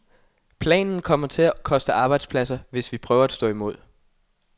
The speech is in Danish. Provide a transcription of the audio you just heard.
Planen kommer til at koste arbejdspladser, hvis vi prøver at stå imod.